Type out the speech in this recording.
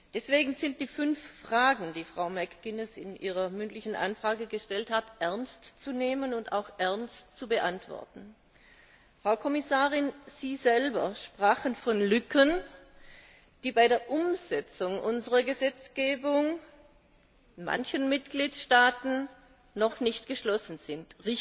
Deswegen sind die fünf Fragen, die Frau McGuinness in ihrer mündlichen Anfrage gestellt hat, ernst zu nehmen und auch ernst zu beantworten. Frau Kommissarin, Sie selbst sprachen von Lücken, die bei der Umsetzung unserer Gesetzgebung in manchen Mitgliedstaaten noch nicht geschlossen sind.